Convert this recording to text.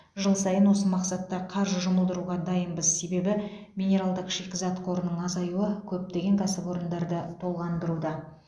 жыл сайын осы мақсатта қаржы жұмылдыруға дайынбыз себебі минералдық шикізат қорының азаюы көптеген кәсіпорындарды толғандыруда